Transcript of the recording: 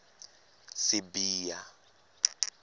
sibiya